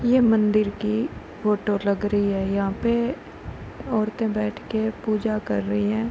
यह मंदिर की फ़ोटो लग रही है। यहाँ पे औरते बैठके पूजा करती हैं।